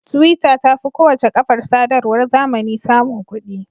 Twitter ta fi kowace kafar sadarwar zamani samun kuɗi.